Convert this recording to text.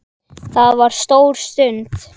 Það var stór stund.